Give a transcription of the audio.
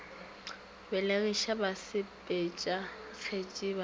belegiša basepetša kgetsi ba ba